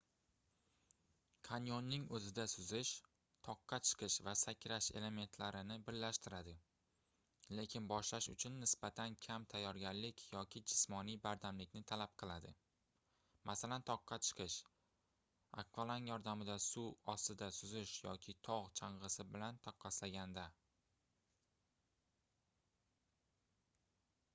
kanyoning o'zida suzish toqqa chiqish va sakrash elementlarini birlashtiradi — lekin boshlash uchun nisbatan kam tayyorgarlik yoki jismoniy bardamlikni talab qiladi masalan toqqa chiqish akvalang yordamida suv ostida suzish yoki tog' chang'isi bilan taqqoslaganda